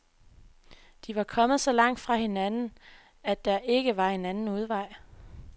De var kommet så langt fra hinanden, at der ikke var anden udvej.